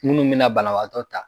Munnu bɛ na banabaatɔ ta.